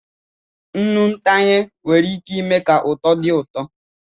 Nnụnụ ntanye nwere ike ime ka uto dị ụtọ.